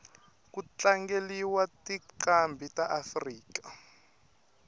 kutlangeliwa tincambi taafrika